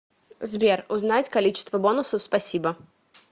сбер узнать количество бонусов спасибо